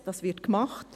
dies wird gemacht.